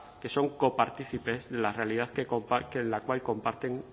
que son copartícipes de la realidad la cual comparten